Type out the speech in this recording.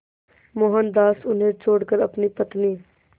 मोहनदास उन्हें छोड़कर अपनी पत्नी